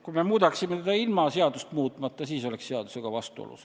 Kui me muudaksime seda ilma seadust muutmata, siis oleks see seadusega vastuolus.